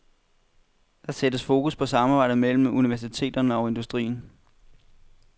Der sættes fokus på samarbejdet mellem universiteterne og industrien.